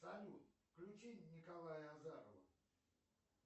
салют включи николая азарова